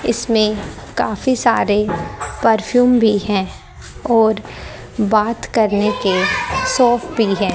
इसमें काफी सारे परफ्यूम भी है और बात करने के सौंफ भी है।